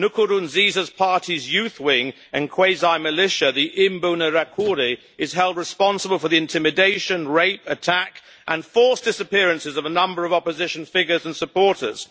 Nkurunziza's party's youth wing and quasi militia, the Imbonerakure, is held responsible for the intimidation, rape, attack and forced disappearances of a number of opposition figures and supporters.